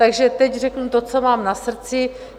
Takže teď řeknu to, co mám na srdci.